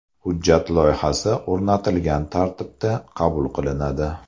Hujjat loyihasi o‘rnatilgan tartibda qabul qilinadi.